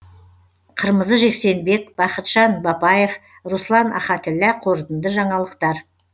қырмызы жексенбек бахытжан бапаев руслан ахатіллә қорытынды жаңалықтар